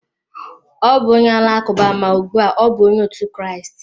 Ọ bụ onye Alakụba, ma ugbu a ọ bụ Onye otu Kraịst.